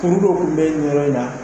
kuru dɔ tun bɛ nin yɔrɔ in na